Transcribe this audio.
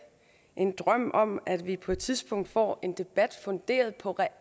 en drøm om at vi på et tidspunkt får en debat funderet på